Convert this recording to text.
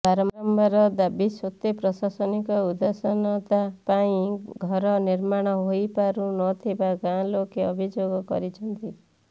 ବାରମ୍ବାର ଦାବି ସତ୍ତ୍ୱେ ପ୍ରଶାସନିକ ଉଦାସିନତା ପାଇଁ ଘର ନିର୍ମାଣ ହୋଇପାରୁ ନଥିବା ଗାଁଲୋକେ ଅଭିଯୋଗ କରିଛନ୍ତି